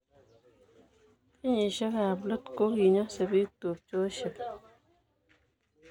Kenyisiek ab let koki nyosebiik tubchosiek